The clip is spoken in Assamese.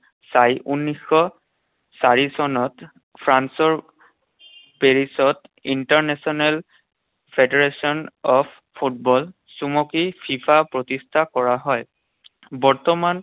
চাই ঊনৈশশ চাৰি চনত ফ্ৰান্সৰ পেৰিছত ইণ্টাৰনেশ্বনেল ফেডাৰেশ্বন অৱ ফুটবল, চমুকৈ ফিফা প্ৰতিষ্ঠা কৰা হয়। বৰ্তমান